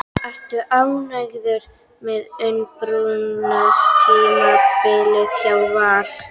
Ertu ánægður með undirbúningstímabilið hjá Val?